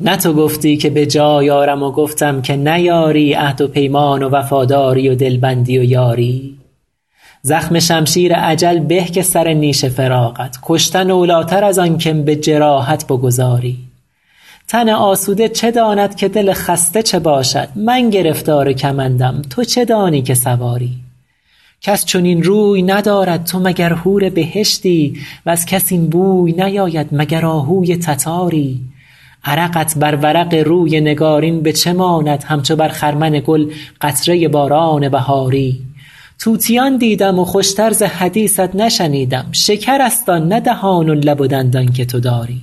نه تو گفتی که به جای آرم و گفتم که نیاری عهد و پیمان و وفاداری و دلبندی و یاری زخم شمشیر اجل به که سر نیش فراقت کشتن اولاتر از آن که م به جراحت بگذاری تن آسوده چه داند که دل خسته چه باشد من گرفتار کمندم تو چه دانی که سواری کس چنین روی ندارد تو مگر حور بهشتی وز کس این بوی نیاید مگر آهوی تتاری عرقت بر ورق روی نگارین به چه ماند همچو بر خرمن گل قطره باران بهاری طوطیان دیدم و خوش تر ز حدیثت نشنیدم شکرست آن نه دهان و لب و دندان که تو داری